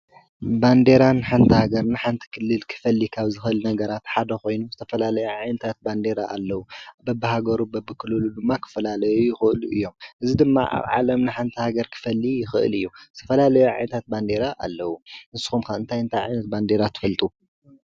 ባንዴራ ንሓንታ ገር ንሓንቲ ክልል ክፈሊካብ ዝኸል ነገራት ሓደኾይኑ ውስተፈላለይ ዓዕንታት ባንዴረ ኣለዉ ብብሃገሩ በብክሉሉ ብማ ኽፈላለዩ ይኽእሉ እዮም እዝ ድማ ኣብ ዓለም ንሓንታ ገር ክፈሊ ይኽእል እዩ ።ትፈላለዮ ኣዓዕንታት ባንዴረ ኣለዉ ንስኹምካ እንታይ እንታይ ዕነት ባንዴራ ትፈልጡ?